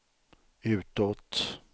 utåt